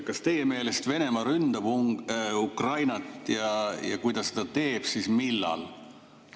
Kas teie meelest Venemaa ründab Ukrainat ja kui ta seda teeb, siis millal?